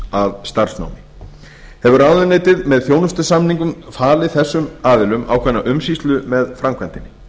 að starfsnámi hefur ráðuneytið með þjónustusamningum falið þessum aðilum ákveðna umsýslu með framkvæmdinni